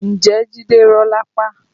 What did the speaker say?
Ǹjẹ́ jide rọ́ lápá?